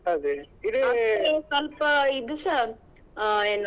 ಮತ್ತೆ ಸ್ವಲ್ಪ ಇದುಸ ಆ ಏನು.